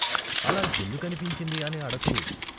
అలా ఎందుకనిపించిందీ అని అడక్కు.